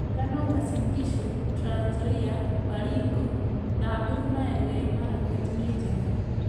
Ngano Uasin Gishu, Trans Nzoia, Baringo, Samburu na Elgeyo Marakwet nĩ njega